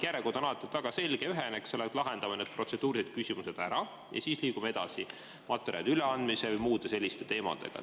Järjekord on alati väga selge, ühene, et lahendame need protseduurilised küsimused ära ja siis liigume edasi materjalide üleandmisega või muude selliste teemadega.